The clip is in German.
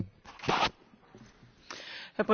Herr Präsident, liebe Kolleginnen und Kollegen!